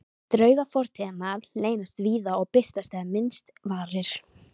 Draugar fortíðarinnar leynast víða og birtast þegar minnst varir.